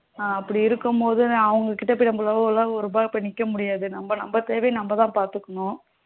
அப்படி இருக்கும் போது அவங்க கிட்ட போயி நம்மளால எல்லாம் போய் ஒரு ரூபாய்க்கு நிக்க முடியாது நம்ம தேவையே நம்ம தான் பாத்துக்கணும்